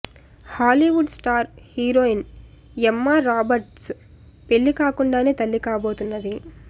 Hollywood star heroine Emma Roberts పెళ్లి కాకుండానే తల్లి కాబోతున్నది